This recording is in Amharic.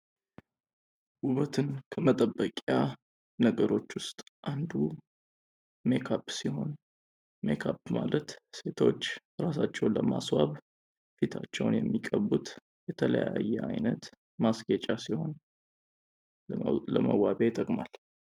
ውበትን ከመጠበቂያ ነገሮች ውስጥ አንዱ ሜካፕ ሲሆን ሜካፕ ማለት ሴቶች እራሳቸውን ለማስዋብ ፊታቸውን የሚጠቀሙት የተለያየ አይነት ማስቄጫ ሲሆን ለመዋቢያ ይጠቅማል።